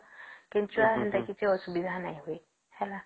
କେଞ୍ଚୁଆ ସେମିତି କିଛି ଅସୁବିଧା ନାଇଁ ହୁଏ